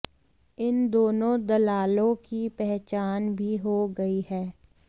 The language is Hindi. इन दोनों दलालों की पहचान भी हो गई है